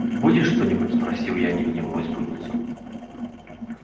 будешь что-нибудь спросил я невидимую спутницу